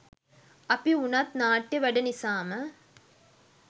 අපි වුණත් නාට්‍ය වැඩ නිසාම